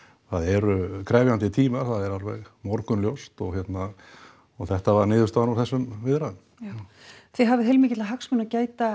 það eru krefjandi tímar það er alveg morgunljóst og þetta var niðurstaðan úr þessum viðræðum já þið hafið heilmikilla hagsmuna að gæta